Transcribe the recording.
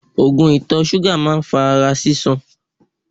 Oògùn ìtọ̀ ṣúgà máa ń fa ara sísan.